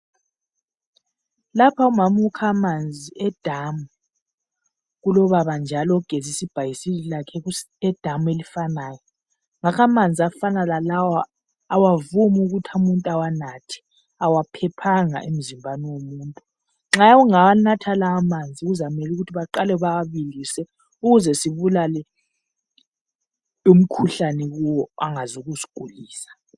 lapha umama ukha amanzi e damu kulobaba njalo ogezisa ibhayisikili lakhe e damu elifanayo amanzi afana lalawa kawavumi ukuthi umuntu awanathe awaphephanga emzimbeni womuntu nxa ungawanatha lawa amanzi kuzamele ukuthi baqale bewabilise ukuze sibulale umkhuhlane kiwo angaze asigulisa